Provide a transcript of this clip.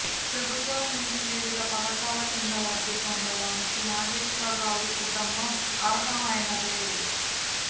ప్రభుత్వం నుంచి వివిధ పథకాల కింద లబ్థి పొందటానికి నాగేశ్వరరావు కుటుంబం అర్హమైనదే